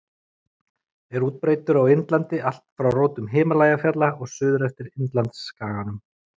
Er útbreiddur á Indlandi allt frá rótum Himalajafjalla og suður eftir Indlandsskaganum.